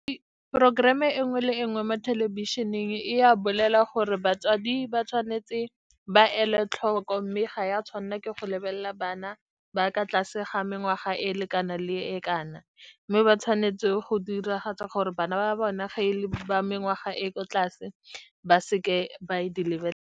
Programme e nngwe le e nngwe mo thelebišeneng e a bolela gore batswadi ba tshwanetse ba ele tlhoko, mme ga ya tshwanela ke go lebelela bana ba ka tlase ga mengwaga e e lekanang le e kana, mme ba tshwanetse go diragatsa gore bana ba bona, ga e le ba mengwaga e ko tlase, ba seke ba di le.